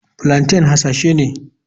Plaintain hasashe ne.